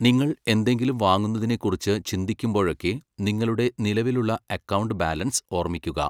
നിങ്ങൾ എന്തെങ്കിലും വാങ്ങുന്നതിനെക്കുറിച്ച് ചിന്തിക്കുമ്പോഴൊക്കെ നിങ്ങളുടെ നിലവിലുള്ള അക്കൗണ്ട് ബാലൻസ് ഓർമ്മിക്കുക.